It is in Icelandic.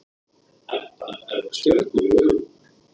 Edda með stjörnur í augunum.